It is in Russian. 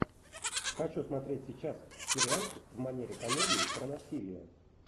хочу смотреть сейчас сериальчик в манере комедии про насилие